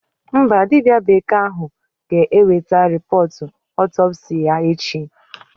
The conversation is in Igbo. Mba, dibịa bekee ahụ ga-eweta rịpọọt ọtọpsii ya echi.